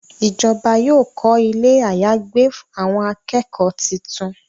Ìjọba yóò kọ Ilé àyágbé àwọn akẹ́kọ̀ọ́ títún.